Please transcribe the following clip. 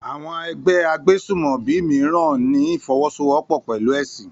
Àwọn ẹgbẹ́ agbésùmọ̀bí mìíràn ní ìfọwọ́sowọ́pọ̀ pẹ̀lú ẹ̀sìn